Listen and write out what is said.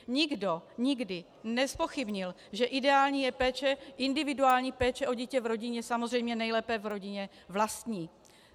Nikdo nikdy nezpochybnil, že ideální je péče, individuální péče o dítě v rodině, samozřejmě nejlépe v rodině vlastní.